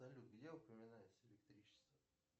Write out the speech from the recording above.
салют где упоминается электричество